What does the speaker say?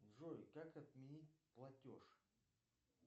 джой как отменить платеж